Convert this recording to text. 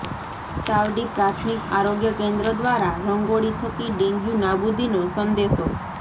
સાવડી પ્રાથમિક આરોગ્ય કેન્દ્ર દ્વારા રંગોળી થકી ડેન્ગ્યુ નાબુદીનો સંદેશો